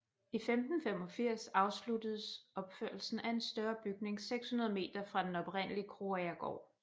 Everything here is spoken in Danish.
I år 1585 afsluttes opførelsen af en større bygning 600 meter fra den oprindelige Krogagergaard